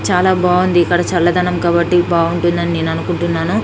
చాలా బాగుంది ఇక్కడ చల్లదనం కాబట్టి బాగుంటుందని నేను అనుకుంటున్నాను